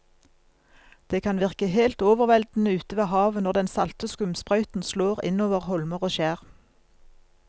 Det kan virke helt overveldende ute ved havet når den salte skumsprøyten slår innover holmer og skjær.